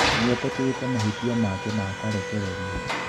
Nĩetĩkĩrĩte mahĩtia make na akarekererio